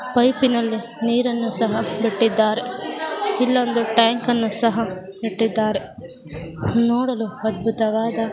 Pipe ನಲ್ಲಿ ನೀರನ್ನು ಸಹ ಕಟ್ಟಿದ್ದಾರೆ ಇಲ್ಲೊಂದು ಟ್ಯಾಂಕ್ ಅನ್ನು ಸಹ ಇಟ್ಟಿದ್ದಾರೆ. ನೋಡಲು ಅದ್ಭುತವಾದ--